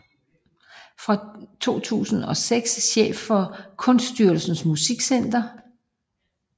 Fra 2006 chef for Kunststyrelsens Musikcenter